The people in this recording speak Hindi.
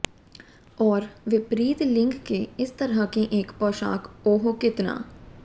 और विपरीत लिंग के इस तरह के एक पोशाक ओह कितना